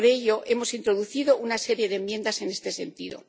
Por ello, hemos introducido una serie de enmiendas en este sentido.